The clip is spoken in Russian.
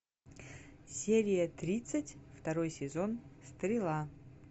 серия тридцать второй сезон стрела